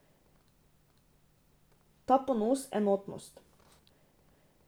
Ta ponos, enotnost ...